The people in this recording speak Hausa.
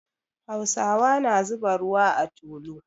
Hausawa na zuba ruwa a tulu.